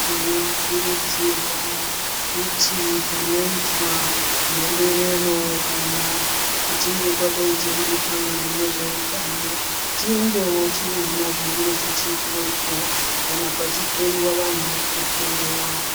Tinokurudzirwa kuti panoyitwa mhemberero ,kana kuchinge kwadayidziwa muhlangano nezveutano, tiendewo tinoona zvinenge zvichiitwepo, kana pachihloyiwa vantu tohloyiwa.